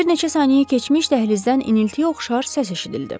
Bir neçə saniyə keçmiş dəhlizdən iniltiyə oxşar səs eşidildi.